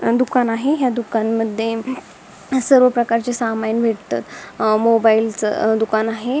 दुकान आहे ह्या दुकानमध्ये सर्व प्रकारचे सामान भेटत मोबाइल च दुकान आहे.